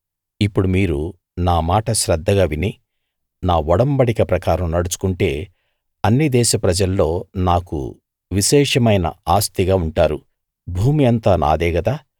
ఇప్పుడు మీరు నా మాట శ్రద్ధగా విని నా ఒడంబడిక ప్రకారం నడుచుకుంటే అన్ని దేశ ప్రజల్లో నాకు విశేషమైన ఆస్తిగా ఉంటారు భూమి అంతా నాదే గదా